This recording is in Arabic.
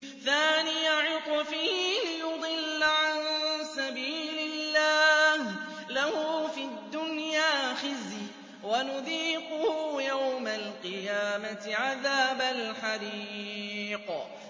ثَانِيَ عِطْفِهِ لِيُضِلَّ عَن سَبِيلِ اللَّهِ ۖ لَهُ فِي الدُّنْيَا خِزْيٌ ۖ وَنُذِيقُهُ يَوْمَ الْقِيَامَةِ عَذَابَ الْحَرِيقِ